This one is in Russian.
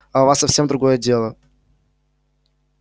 а у вас совсем другое дело